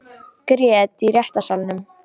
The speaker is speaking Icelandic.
Grét í réttarsalnum